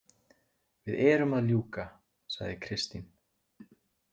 Við erum að ljúka, sagði Kristín.